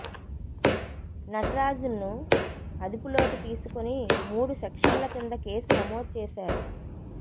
నటరాజన్ను అదుపులోకి తీసుకుని మూడు సెక్షన్ల కింద కేసు నమోదు చేశారు